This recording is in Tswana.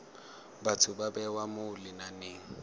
batho ba bewa mo lenaneng